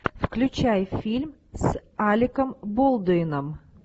включай фильм с алеком болдуином